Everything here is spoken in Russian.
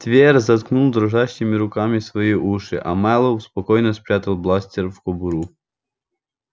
твер заткнул дрожащими руками свои уши а мэллоу спокойно спрятал бластер в кобуру